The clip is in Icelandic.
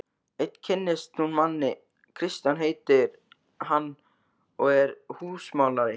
Enn kynnist hún manni, Kristján heitir hann og er húsamálari.